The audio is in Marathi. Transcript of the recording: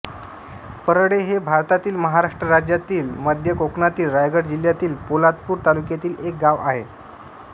परळे हे भारतातील महाराष्ट्र राज्यातील मध्य कोकणातील रायगड जिल्ह्यातील पोलादपूर तालुक्यातील एक गाव आहे